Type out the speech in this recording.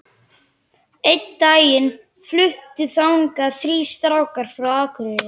Einn daginn fluttu þangað þrír strákar frá Akureyri.